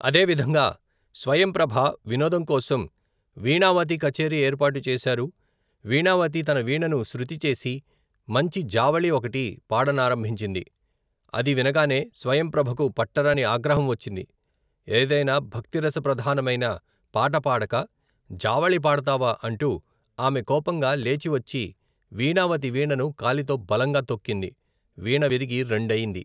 అదేవిధంగా స్వయంప్రభ వినోదంకోసం వీణావతి కచేరి ఏర్పాటు చేశారు వీణావతి తన వీణను శృతిచేసి మంచి జావళీ ఒకటి, పాడనారంభించింది అది వినగానే స్వయంప్రభకు పట్టరాని ఆగ్రహంవచ్చింది ఏదైనా భక్తిరసప్రధానమైన, పాట పాడక జావళీ పాడతావా అంటూ ఆమె కోపంగా లేచివచ్చి వీణావతి వీణను కాలితో బలంగా తొక్కింది వీణ విరిగి రెండయింది.